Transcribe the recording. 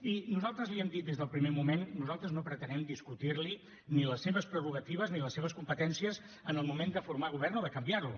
i nosaltres l’hi hem dit des del primer moment nosaltres no pretenem discutir li ni les seves prerrogatives ni les seves competències en el moment de formar govern o de canviar lo